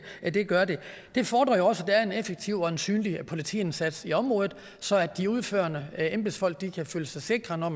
gør det det fordrer jo også at der er en effektiv og synlig politiindsats i området så de udførende embedsfolk kan føle sig sikre når